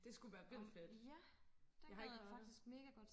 det skulle være vildt fedt jeg har ikke været der